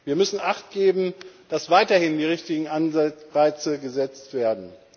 Wir müssen achtgeben, dass weiterhin die richtigen Anreize gesetzt werden.